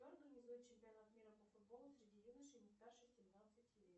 кто организует чемпионат мира по футболу среди юношей не старше семнадцати лет